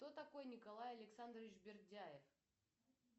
кто такой николай александрович бердяев